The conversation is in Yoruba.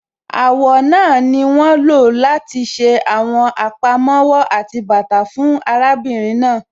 Àwọ̀ náà ni wọ́n lọ láti ṣe àwọn àpamọ́wọ́ àti bàtà fún arábìnrin náà.